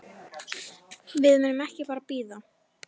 Við munum ekki bara bíða.